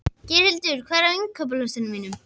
Geirhildur, hvað er á innkaupalistanum mínum?